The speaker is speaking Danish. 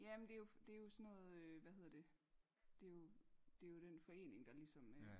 ja men det er jo sådan noget hvad hedder det det er jo det er jo den der forening ligesom øh